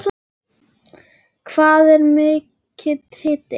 Hvað er mikill hiti?